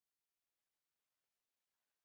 Guðný, Einar, Páll og Ingunn.